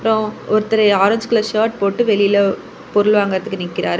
அப்ரோ ஒருத்தரு orange colour shirt போட்டு வெளில பொருள் வாங்கறதுக்கு நிக்கிறாரு.